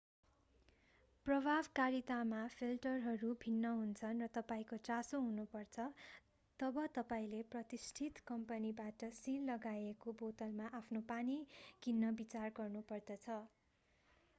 प्रभावकारितामा फिल्टरहरू भिन्न हुन्छन् र तपाईंको चासो हुनुपर्छ तब तपाईंले प्रतिष्ठित कम्पनीबाट सिल लगाइएको बोतलमा आफ्नो पानी किन्न विचार गर्नुपर्दछ